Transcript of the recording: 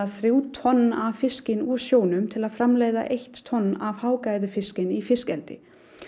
þrjú tonn af fiski úr sjónum til að framleiða eitt tonn af hágæða fiski í fiskeldi